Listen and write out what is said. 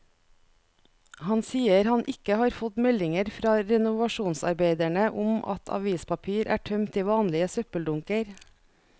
Han sier han ikke har fått meldinger fra renovasjonsarbeiderne om at avispapir er tømt i vanlige søppeldunker.